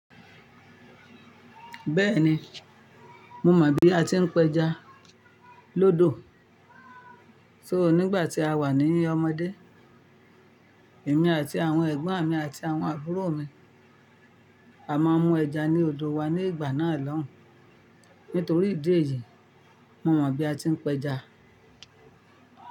Bẹ́ẹ̀ni, mo mọ bí a ti ń peja lódò. So nígbà tí a wà ní ọmọdé, èmi àti àwọn ẹ̀gbọ́n mi àti àwọn àbúrò mi, à máa mú ẹja ní odò wa ní ìgbà náà lọ́hùn. Nítorí ìdí èyí, mo mọ bí a ti ń peja.